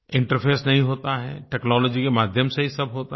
interface नहीं होता है टेक्नोलॉजी के माध्यम से ही सब होता है